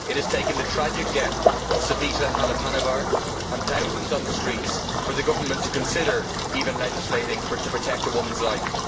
It has taken the tragic death of Savita Halappanavar and thousands on the streets for the government to consider, even, legislating to protect a woman's life.